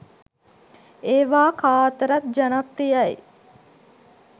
ඒවා කා අතරත් ජනප්‍රියයි.